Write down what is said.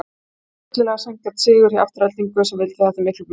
Þetta var fyllilega sanngjarn sigur hjá Aftureldingu sem vildi þetta miklu meira.